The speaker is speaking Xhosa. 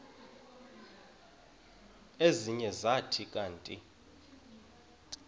ezinye zathi kanti